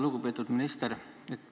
Lugupeetud minister!